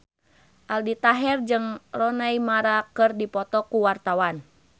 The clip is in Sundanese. Aldi Taher jeung Rooney Mara keur dipoto ku wartawan